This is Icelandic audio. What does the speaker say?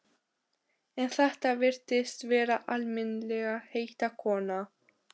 En þetta virtist vera almennilegheita kona.